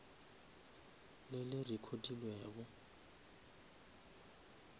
le le recodilwego